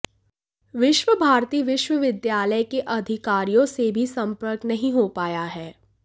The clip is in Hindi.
विश्व भारती विश्वविद्यालय के अधिकारियों से भी संपर्क नहीं हो पाया है